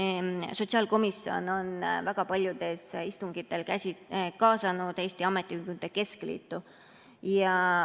Sotsiaalkomisjon on väga paljudele istungitele kaasanud Eesti Ametiühingute Keskliidu.